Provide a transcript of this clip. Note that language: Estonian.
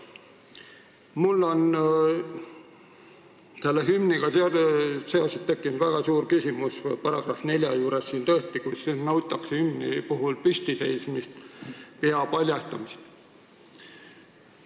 Mul on tekkinud väga suur küsimus selle hümnieelnõu § 4 kohta, kus nõutakse hümni ajal püstiseismist ja pea paljastamist.